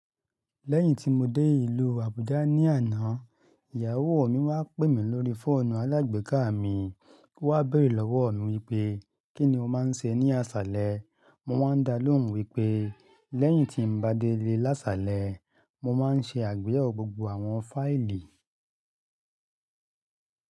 Lẹ́yìn tí mo dé ìlú Abuja ní àná, ìyàwó mi wá pè mí lórí fóònù alágbèéká mi, o wá béèrè lọ́wọ́ mi wípé, Kí ni o máa ń ṣe ní àsálẹ́. Mo wáa ń dá lóhùn wípé, lẹ́yìn tí n bá délé lásálẹ́, mo máa ń ṣe àgbéyẹ̀wò gbogbo àwọn fáìlì.